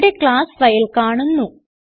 ഇവിടെ class file കാണുന്നു